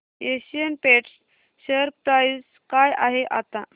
Asian Paints share price काय आहे आता